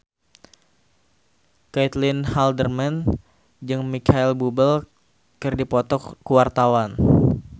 Caitlin Halderman jeung Micheal Bubble keur dipoto ku wartawan